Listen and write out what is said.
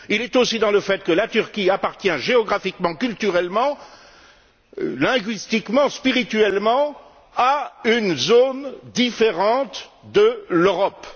Il réside aussi dans le fait que la Turquie appartient géographiquement, culturellement, linguistiquement et spirituellement à une zone différente de l'Europe.